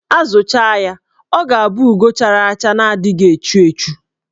A zụchaa ya, ọ ga-abụ ugo chara acha na-adịghị echu echu.